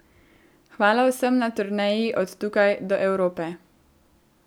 Hvala vsem na turneji od tukaj do Evrope.